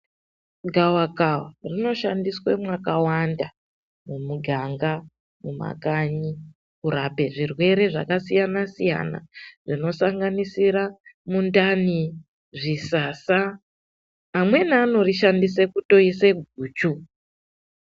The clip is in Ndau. Gavakava rinoshandiswe mwakawanda mumiganga, mumakanyi, kurape zvirwere zvakasiyana-siyana zvinosanganisire mundani, zvisasa, amweni anorishandisa kutoise guchu.